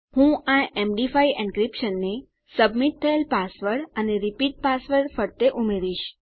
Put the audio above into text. હું આ MD five encryption ને સબમિટ થયેલ પાસવર્ડ અને રીપીટ પાસવર્ડ ફરતે ઉમેરીશ